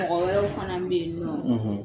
Mɔgɔ wɛrɛw fana bɛ yen nɔ